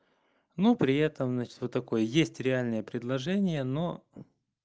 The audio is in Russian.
ну при этом значит вот такой есть реальное предложение но